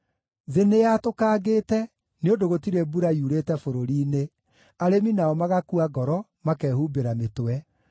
Thĩ nĩyatũkangĩte, nĩ ũndũ gũtirĩ mbura yurĩte bũrũri-inĩ, arĩmi nao magakua ngoro, makehumbĩra mĩtwe.